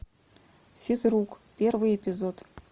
физрук первый эпизод